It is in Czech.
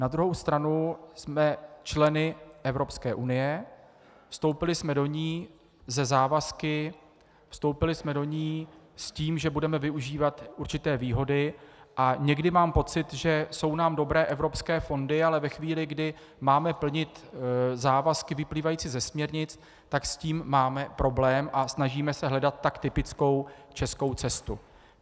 Na druhou stranu jsme členy Evropské unie, vstoupili jsme do ní se závazky, vstoupili jsme do ní s tím, že budeme využívat určité výhody, a někdy mám pocit, že jsou nám dobré evropské fondy, ale ve chvíli, kdy máme plnit závazky vyplývající ze směrnic, tak s tím máme problém a snažíme se hledat tak typickou českou cestu.